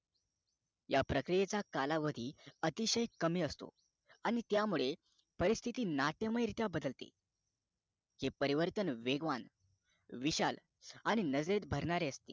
त्या प्रक्रियेचा कालावधी अतिशय कमी असतो आणि त्या मुळे अपरिस्तिति नाट्यमय रित्या बदलते ते परिवर्तन वेगवान विशाल आणि नजरेत भरणारे असते